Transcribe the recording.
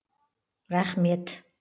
рахмет